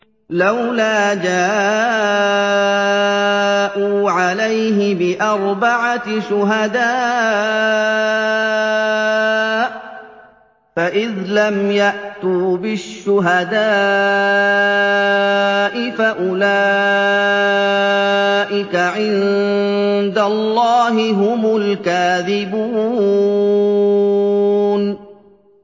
لَّوْلَا جَاءُوا عَلَيْهِ بِأَرْبَعَةِ شُهَدَاءَ ۚ فَإِذْ لَمْ يَأْتُوا بِالشُّهَدَاءِ فَأُولَٰئِكَ عِندَ اللَّهِ هُمُ الْكَاذِبُونَ